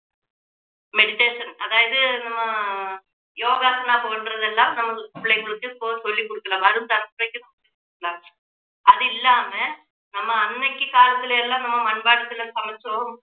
meditation ஆஹ் அதாவது நம்ம யோகாசனம் போன்றதெல்லாம் நம்ம பிள்ளைகளுக்கு இப்போ சொல்லிக் கொடுக்கலாம் வரும் தலைமுறைக்கு சொல்லிக் கொடுக்கலாம் அது இல்லாம நம்ம அன்னைக்கு காலத்துல எல்லாம் நம்ம மண் பாண்டத்துல சமைச்சோம்